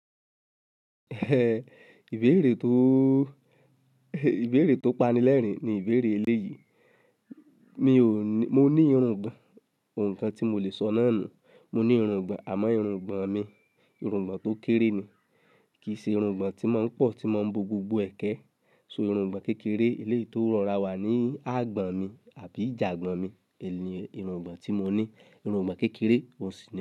Ìbéèrè tó, ìbéèrè tó pani lẹ́rìn-ín ni ìbéèrè eléyìí. Mi ò ní, mo ní irùngbọ̀n. Ǹkàn tí mo le sọ náà ni, mo ní irùngbọ̀n àmọ́ irùngbọ̀n mi, irùngbọ̀n tó kéré ni. Kì í ṣe irùngbọ̀n tí máa ń pọ̀, tí máa ń bo gbogbo ẹ̀kẹ́. So irùngbọ̀n kékeré eléyìí tó rọra wà ní àgbọ̀n mi àbí ìjàgbọ̀n mi. Ẹ̀ní irùngbọ̀n tí mo ní, irùngbọ̀n kékeré, òǹsì.